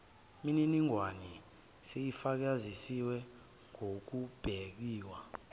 miningwane seyifakazisiwe ngokubekiwe